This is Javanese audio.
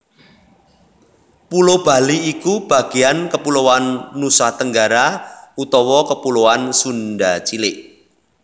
Pulo Bali iku bagéan kepuloan Nusatenggara utawa kepuloan Sunda cilik